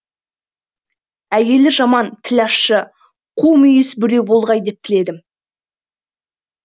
әйелі жаман тілі ащы қумүйіз біреу болғай деп тіледім